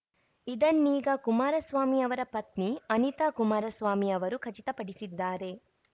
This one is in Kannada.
ಇದನ್ನೀಗ ಕುಮಾರಸ್ವಾಮಿ ಅವರ ಪತ್ನಿ ಅನಿತಾ ಕುಮಾರಸ್ವಾಮಿ ಅವರು ಖಚಿತಪಡಿಸಿದ್ದಾರೆ